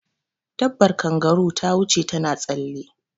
Dabar kangaru ta wuce ta na tsalle